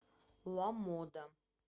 ламода